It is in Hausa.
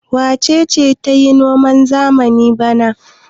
Wace ce za ta yi noman zamani bana?